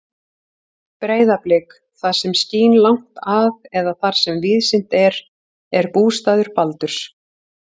Breiðablik, það sem skín langt að eða þar sem víðsýnt er, er bústaður Baldurs.